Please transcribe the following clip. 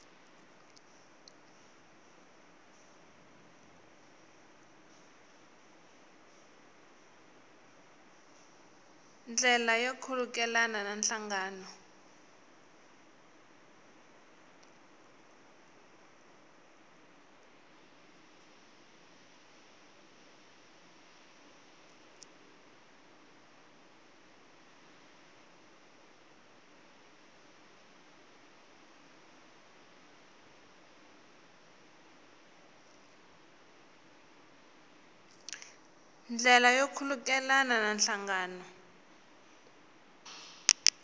ndlela yo khulukelana na nhlangano